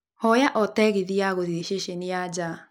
hoya o tegithĨ ya gũthiĩ ceceni ya nja